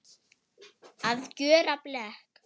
Að gjöra blek